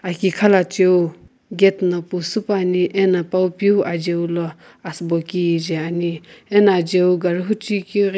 aki khalachiu gate na pusupuani ena pawu piu ajiu lo asübo kije ani ena ajiu gari huchiu keu ghi.